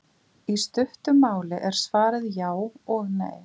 Í stuttu máli er svarið já og nei.